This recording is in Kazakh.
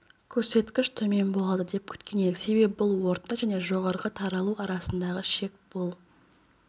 көрсеткіш төмен болады деп күткен едік себебі бұл орта және жорғары таралу арасындағы шек бұл